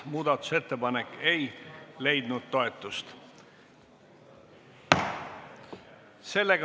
Muudatusettepanek ei leidnud toetust.